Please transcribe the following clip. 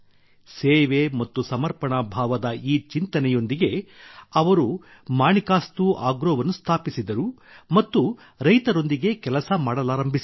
ಸೇವೆ ಮತ್ತು ಸಮರ್ಪಣಾ ಭಾವದ ಈ ಚಿಂತನೆಯೊಂದಿಗೆ ಅವರು ಮಾಣಿಕಸ್ತು ಆಗ್ರೋವನ್ನು ಸ್ಥಾಪಿಸಿದರು ಮತ್ತು ರೈತರೊಂದಿಗೆ ಕೆಲಸ ಮಾಡಲಾರಂಭಿಸಿದರು